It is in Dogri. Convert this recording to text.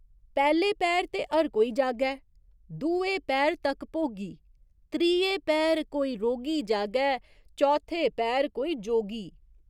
पैह्‌ले पैह्‌र ते हर कोई जागै, दुए पैह्‌र तक भोगी त्रिये पैह्‌र कोई रोगी जागै, चौथे पैह्‌र कोई जोगी।